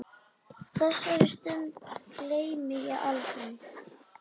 Þessari stund gleymi ég aldrei.